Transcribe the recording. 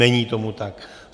Není tomu tak.